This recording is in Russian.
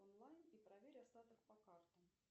онлайн и проверь остаток по картам